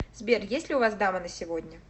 сбер есть ли у вас дама на сегодня